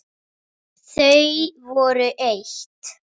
Þau voru eitt.